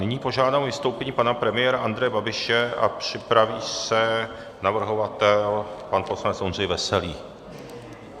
Nyní požádám o vystoupení pana premiéra Andreje Babiše a připraví se navrhovatel pan poslanec Ondřej Veselý.